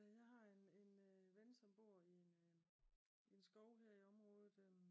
Jeg har en en ven som bor i en en skov her i området